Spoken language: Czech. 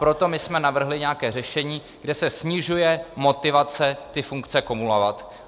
Proto my jsme navrhli nějaké řešení, kde se snižuje motivace ty funkce kumulovat.